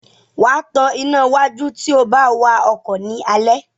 Wá tán iná wájú tíó bá wá ọkọ ni Alẹ́.